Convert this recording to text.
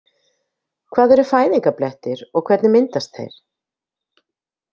Hvað eru fæðingarblettir og hvernig myndast þeir?